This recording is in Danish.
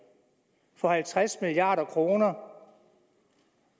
for halvtreds milliard kroner